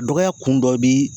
Dɔgɔya kun dɔ bi